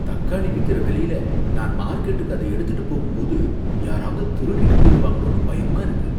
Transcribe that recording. தக்காளி விக்கிற விலையில, நான் மார்க்கெட்டுக்கு அத எடுத்துட்டு போகும்போது யாராவது திருடிட்டு போயிடுவாங்களோனு பயமா இருக்கு.